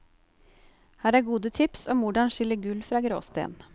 Her er gode tips om hvordan skille gull fra gråsten.